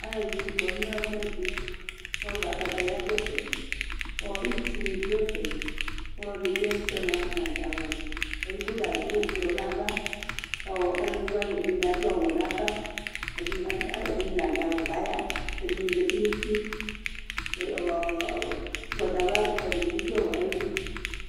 alʋɛdini kɔnʋ ɛƒʋɛdi kʋ akataya dʋ ɛƒɛ kʋ itsʋ ni dʋ ɛƒɛ kʋ alɔdi dʋ ɛƒʋɛ mʋa nadʋ awʋni, ɛdigbɔ ta adʋ ɔblɔ nʋ aɣa kʋ alʋvi wani ɛdini adʋ awʋ nʋ aɣa, ɛdini nadʋ awʋ kʋ aya, ɛdini zati nʋ ʋti, ɔgbatawla dini bi dʋ ayidʋ